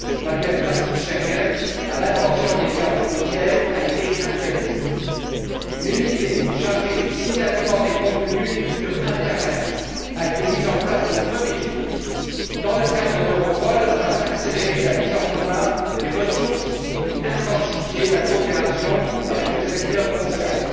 Le manuel pratique Schengen à l'intention des gardes frontières a été actualisé. Une unité chargée du signalement des contenus sur l'internet a été mise en place le 1er juillet dans le cadre d'Europol afin d'accélérer la mise en commun des ressources et d'intensifier la coopération avec le secteur concerné.